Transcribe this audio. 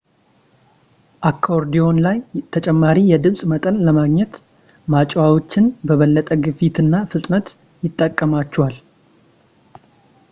አኮርዲዮን ላይ ተጨማሪ የድምፅ መጠን ለማግኘት ማጮኺያዎቹን በበለጠ ግፊት እና ፍጥነት ይጠቀሟቸዋል